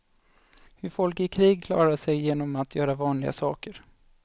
Hur folk i krig klarar sig genom att göra vanliga saker.